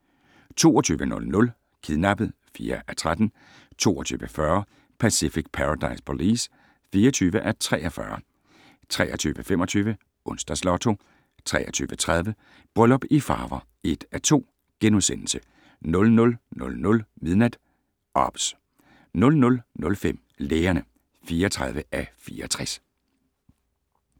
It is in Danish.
22:00: Kidnappet (4:13) 22:40: Pacific Paradise Police (24:43) 23:25: Onsdags Lotto 23:30: Bryllup i Farver (1:2)* 00:00: OBS 00:05: Lægerne (34:64)